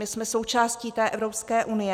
My jsme součástí té Evropské unie.